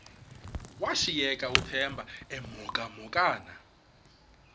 washiyeka uthemba emhokamhokana